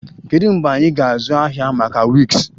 Kedu mgbe anyị ga-azụ ahịa maka wigs?